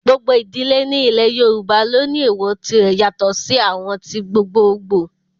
Gbogbo idile ni ilẹ yoruba lo ni ééwọ́ tire yato si awọn ti gbogboogbo